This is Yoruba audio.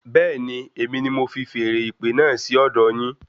Bẹẹni, èmi ní mo fi feèrè ìpè náà sí ọdọ yín